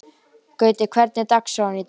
Gutti, hvernig er dagskráin í dag?